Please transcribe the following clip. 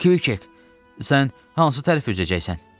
Kviçek, sən hansı tərəf üzəcəksən?